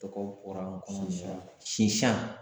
Tɔgɔ bɔra n kɔnɔ sisan nin yɔrɔ la sisan